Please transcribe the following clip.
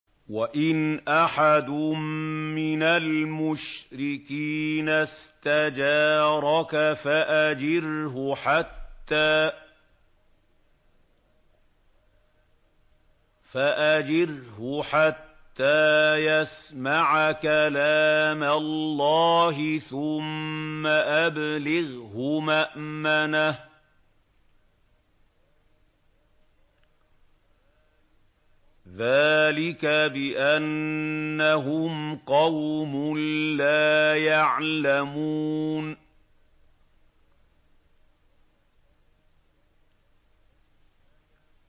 وَإِنْ أَحَدٌ مِّنَ الْمُشْرِكِينَ اسْتَجَارَكَ فَأَجِرْهُ حَتَّىٰ يَسْمَعَ كَلَامَ اللَّهِ ثُمَّ أَبْلِغْهُ مَأْمَنَهُ ۚ ذَٰلِكَ بِأَنَّهُمْ قَوْمٌ لَّا يَعْلَمُونَ